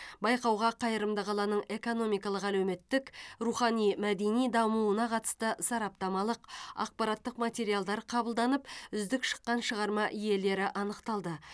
байқауға қайырымды қаланың экономикалық әлеуметтік рухани мәдени дамуына қатысты сараптамалық ақпараттық материалдар қабылданып үздік шыққан шығарма иелері анықталды